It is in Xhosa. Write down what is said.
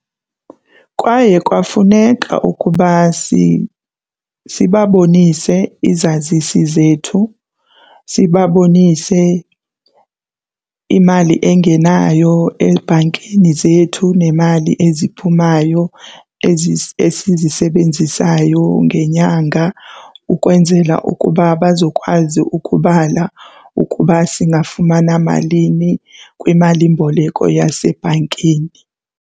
Kwaye kwafuneka ukuba sibabonise izazisi zethu, sibabonise imali engenayo ebhankini zethu nemali eziphumayo esizisebenzisayo ngenyanga ukwenzela ukuba bazokwazi ukubala ukuba singafumana malini kwimalimboleko yasebhankini.